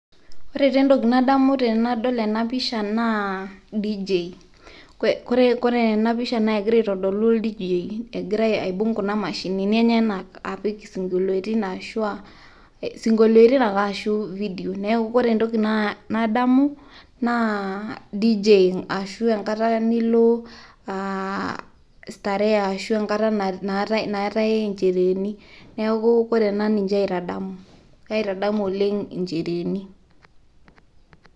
ore taa entoki nadamu tenadol ena pisha naa dj.kore ena pisha naa kegira aitodolu ol dj egira aibung' kuna maashinini enyenak, apik isinkoliotin aashu aa, isinkolitin ake ashu video neeku ore entoki naadamu naa dj ashu enkata nilo starehe, ashu enkata nilo nchereeni, neeku ore ena naa ninye aitadamu, kaitadamu oleng incereeni.